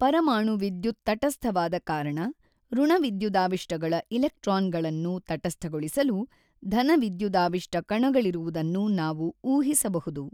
ಪರಮಾಣು ವಿದ್ಯುತ್ ತಟಸ್ಥವಾದ ಕಾರಣ ಋಣ ವಿದ್ಯುದಾವಿಷ್ಟಗಳ ಇಲೆಕ್ಟ್ರಾನ್ ಗಳನ್ನು ತಟಸ್ಥಗೊಳಿಸಲು ಧನ ವಿದ್ಯುದಾವಿಷ್ಟ ಕಣಗಳಿರುವುದನ್ನು ನಾವು ಊಹಿಸಬಹುದು.